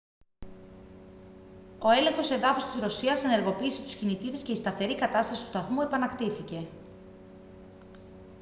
ο έλεγχος εδάφους της ρωσίας ενεργοποίησε τους κινητήρες και η σταθερή κατάσταση του σταθμού επανακτήθηκε